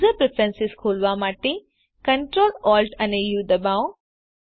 user preference ખોલવા માટે Ctrl Alt અને ઉ દબાવો